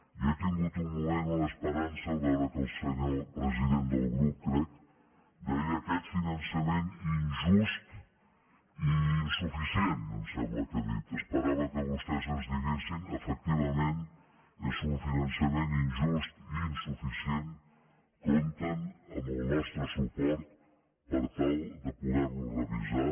jo he tingut un moment una esperança en veure que el senyor president del grup crec deia aquest finan·çament injust i insuficient em sembla que ha dit es·perava que vostès ens diguessin efectivament és un finançament injust i insuficient compten amb el nostre suport per tal de poder·lo revisar